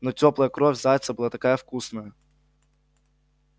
но тёплая кровь зайца была такая вкусная